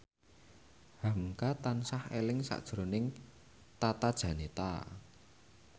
hamka tansah eling sakjroning Tata Janeta